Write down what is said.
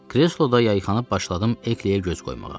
Kresloda yayxanıb başladım Ekliyə göz qoymağa.